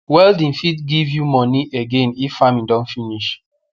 welding fit give you moni again if farming don finish